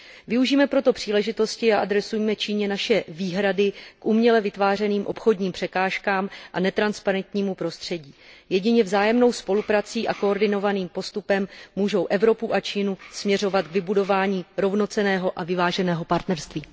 Využijme proto příležitosti a adresujme Číně naše výhrady k uměle vytvářeným obchodním překážkám a netransparentnímu prostředí. Jedině vzájemná spolupráce a koordinovaný postup můžou Evropu a Čínu směřovat k vybudování rovnocenného a vyváženého partnerství.